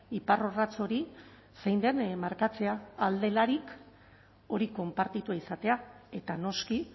iparrorratz hori zein den markatzea ahal delarik hori konpartitua izatea eta noski